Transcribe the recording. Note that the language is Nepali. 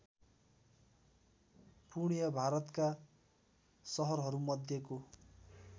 पूर्णिया भारतका सहरहरूमध्येको